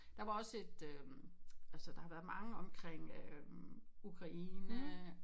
Der var også et øh altså der har været mange omkring øh Ukraine